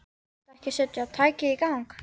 Viltu ekki setja tækið í gang.